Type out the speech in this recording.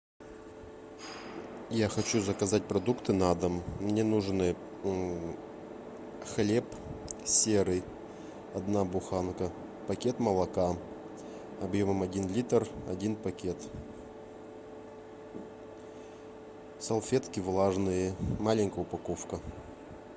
я хочу заказать продукты на дом мне нужны хлеб серый одна буханка пакет молока объемом один литр один пакет салфетки влажные маленькая упаковка